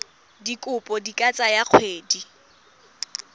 dikopo di ka tsaya dikgwedi